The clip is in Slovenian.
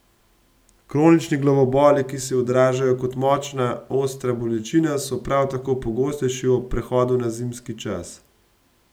Kronični glavoboli, ki se odražajo kot močna, ostra bolečina, so prav tako pogostejši ob prehodu na zimski čas.